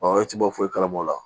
Ɔ e tɛ bɔ foyi kalabɔ o la